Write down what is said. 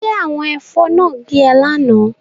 Ṣé àwọn ẹ̀fọn náà gé ọ lánàá?